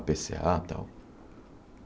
A Pê Cê á, tal.